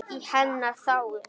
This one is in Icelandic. Í hennar þágu.